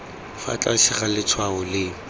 fa tlase ga letshwao leno